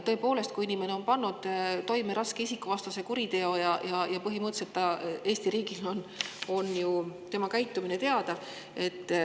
Tõepoolest, kui inimene on pannud toime raske isikuvastase kuriteo ja ta on Eesti riigis, siis on ju tema käitumine teada.